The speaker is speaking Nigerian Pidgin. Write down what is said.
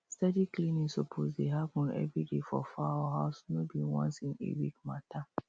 steady cleaning suppose dey happen every day for fowl house no be once in a week matter